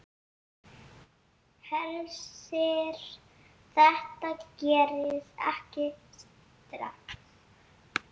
Hersir: Þetta gerist ekki strax?